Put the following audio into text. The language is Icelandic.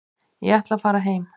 Ég ætla að fara heim.